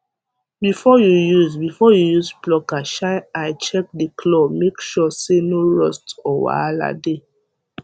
before you use before you use plucker shine eye check the clawmake sure say no rust or wahala dey